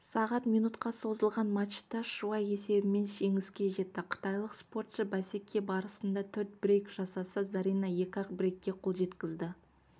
сағат минутқа созылған матчта шуай есебімен жеңіске жетті қытайлық спортшы бәсеке барысында төрт брейк жасаса зарина екі-ақ брейкке қол жеткізді